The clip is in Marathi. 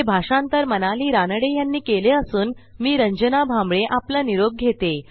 हे भाषांतर मनाली रानडे यांनी केले असून आवाज रंजना भांबळे यांचा आहे